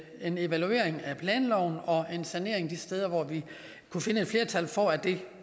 en evaluering af planloven og en sanering de steder hvor vi kunne finde et flertal for at det